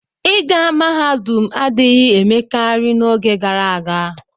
ịga mahadum adịghị emekarị n'oge gara aga.